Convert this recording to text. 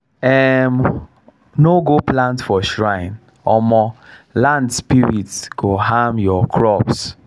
um no go plant for shrine um land spirits go harm your crops.